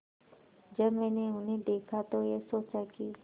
जब मैंने उन्हें देखा तो ये सोचा कि